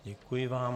Děkuji vám.